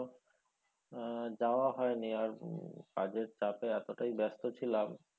আহ যাওয়া হয়নি আর তখন কাজের চাপে এতোটাই ব্যাস্ত ছিলাম,